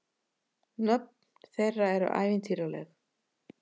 Nöfn þeirra eru ævintýraleg.